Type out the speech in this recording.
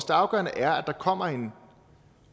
afgørende er at der kommer en